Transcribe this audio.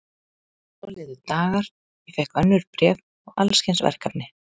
Svo liðu dagar, ég fékk önnur bréf og alls kyns verkefni.